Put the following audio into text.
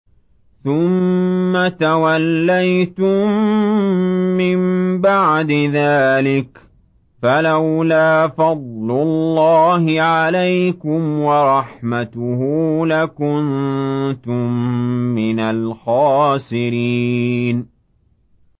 ثُمَّ تَوَلَّيْتُم مِّن بَعْدِ ذَٰلِكَ ۖ فَلَوْلَا فَضْلُ اللَّهِ عَلَيْكُمْ وَرَحْمَتُهُ لَكُنتُم مِّنَ الْخَاسِرِينَ